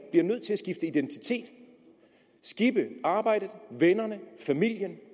bliver nødt til at skifte identitet skippe arbejdet vennerne familien